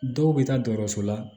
Dɔw bɛ taa dɔkɔtɔrɔso la